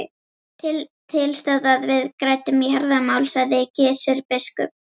Til stóð að við ræddum jarðamál, sagði Gizur biskup.